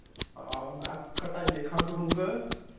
ਆਹੋ ਮੈ ਹਟਾਈਏ ਖੰਗ ਖੁੰਗ